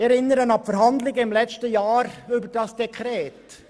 Ich erinnere an die Verhandlungen im letzten Jahr über dieses Dekret.